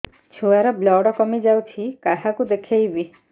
ଛୁଆ ର ବ୍ଲଡ଼ କମି ଯାଉଛି କାହାକୁ ଦେଖେଇବି